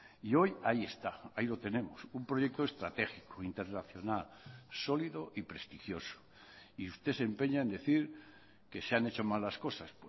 y hoy ahí está ahí lo tenemos un proyecto estratégico internacional sólido y prestigioso y usted se empeña en decir que se han hecho mal las cosas